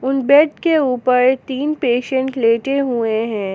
उन बेड के ऊपर तीन पेशेंट लेटे हुएं हैं।